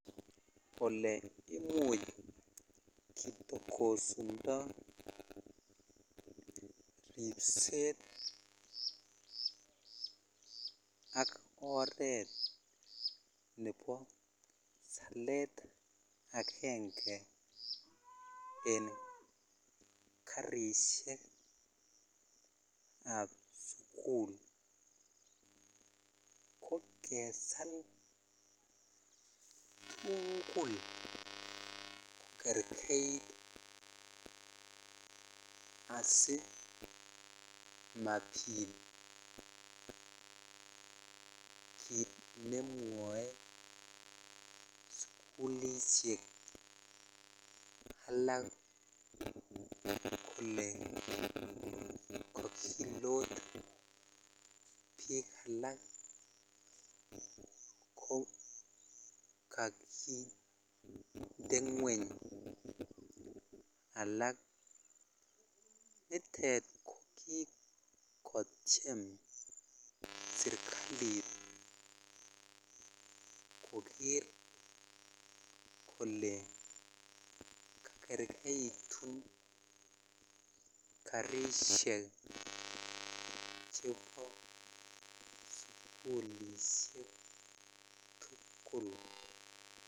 Kole imuche ketokosundo ribset ak oret Nebo salet agenge en karishek ab sukul KO kesal tugul kokergeit asimabit kit nemwae sukulishek alak Kole kakilo bik alak kokakinde ngweny alak nitet kokikoteim serikalit Koger Kole kogergeitun karishek chebo sukulishek tugul